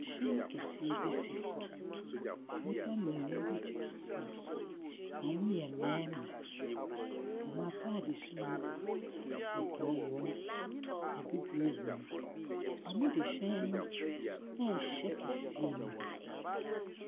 Ɛhyɛn kɛseɛ bi si hɔ, nnipa mmienu bi gyina ho, ɔmo yɛ mmɛɛma. Ɔmo ataade su no kɔkɔɔ wɔm, abibire wɔm. Ɔmo de hyɛn no ɛɛhyɛ kɛseɛ no mu.